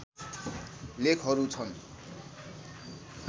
लेखहरू छन्